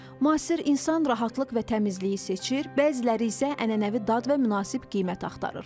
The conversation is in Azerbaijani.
Müasir insan rahatlıq və təmizliyi seçir, bəziləri isə ənənəvi dad və münasib qiymət axtarır.